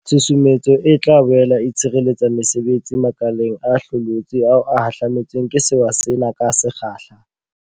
Tshusumetso e tla boele e tshireletsa mesebetsi makeleng a hlokolotsi ao a hahlame tsweng ke sewa sena ka se kgahla.